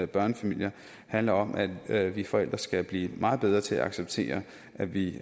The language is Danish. børnefamilier handler om at at vi forældre skal blive meget bedre til at acceptere at vi